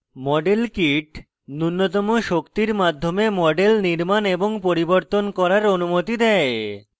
model kit নুন্যতম শক্তির মাধ্যমে models নির্মাণ এবং পরিবর্তন করার অনুমতি দেয়